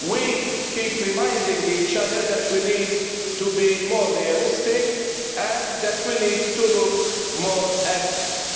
We keep reminding each other that we need to be more realistic and that we need to look more at